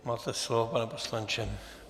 Máte slovo, pane poslanče.